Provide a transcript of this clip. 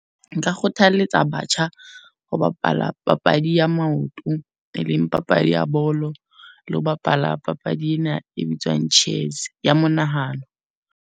Nka kgothaletsa batjha ho bapala papadi ya maoto, e leng papadi ya bolo. Le ho bapala papadi ena e bitswang chess, ya monahano.